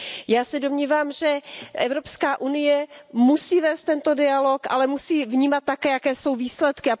Já se domnívám, že Evropská unie musí vést tento dialog, ale musí vnímat také, jaké jsou výsledky.